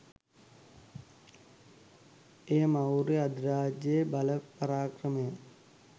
එය ‍ෙමෟර්ය අධිරාජ්‍යයේ බල පරාක්‍රමය